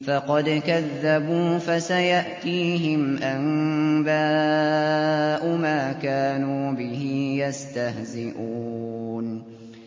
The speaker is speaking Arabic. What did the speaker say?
فَقَدْ كَذَّبُوا فَسَيَأْتِيهِمْ أَنبَاءُ مَا كَانُوا بِهِ يَسْتَهْزِئُونَ